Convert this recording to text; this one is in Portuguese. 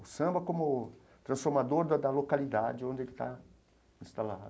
O samba como transformador da da localidade onde ele está instalado.